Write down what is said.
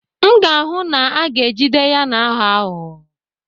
M ga-ahụ na a ga-ejide ya na-aghọ aghụghọ